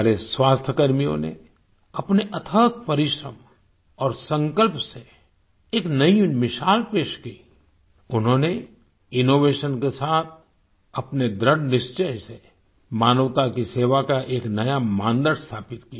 हमारे स्वास्थ्यकर्मियों ने अपने अथक परिश्रम और संकल्प से एक नई मिसाल पेश की उन्होंने इनोवेशन के साथ अपने दृढ़ निश्चय से मानवता की सेवा का एक नया मानदंड स्थापित किया